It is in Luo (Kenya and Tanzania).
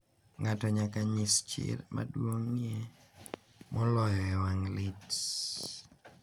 Ng’ato nyaka nyis chir maduong’ie moloyo e wang’ lit.